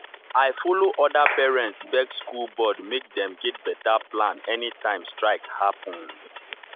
i follow other parents beg school board make dem get better plan anytime strike happen.